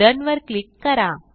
run वर click करा